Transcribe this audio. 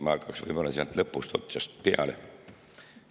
Ma hakkaks võib-olla sealt lõpust peale.